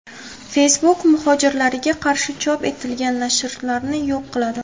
Facebook muhojirlarga qarshi chop etilgan nashrlarni yo‘q qiladi.